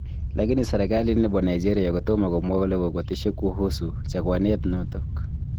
Lakini serekalit nebo Nageria kotomo komwa kole kokoteshi kuhusu chaguanet notok.